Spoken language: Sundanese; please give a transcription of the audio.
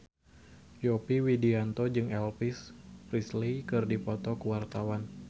Yovie Widianto jeung Elvis Presley keur dipoto ku wartawan